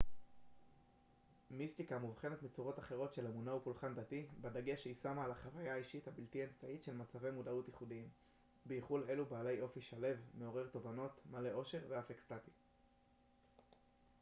מיסטיקה מובחנת מצורות אחרות של אמונה ופולחן דתי בדגש שהיא שמה על החוויה האישית הבלתי אמצעית של מצבי מודעות ייחודיים בייחוד אלו בעלי אופי שלו מעורר תובנות מלא אושר ואף אקסטטי